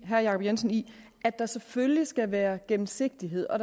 herre jacob jensen i at der selvfølgelig skal være gennemsigtighed og at